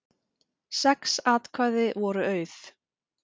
Sex atkvæði voru auð